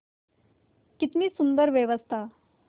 कितनी सुंदर व्यवस्था